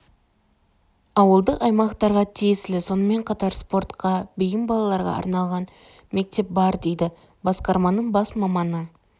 ауыдық аймақтарға тиесілі сонымен қатар спортқа бейім балаларға арналған мектеп бар дейді басқарманың бас маманы